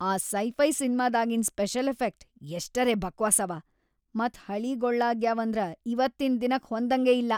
ಆ ಸೈ-ಫೈ ಸಿನ್ಮಾದಾಗಿನ್‌ special effect ಎಷ್ಟರೇ ಬಕ್ವಾಸವ ಮತ್‌ ಹಳೀಗೊಳ್ಳಾಗ್ಯಾವಂದ್ರ ಇವತ್ತಿನ್ ದಿನಕ್ ಹೊಂದಂಗೇ‌ ಇಲ್ಲಾ.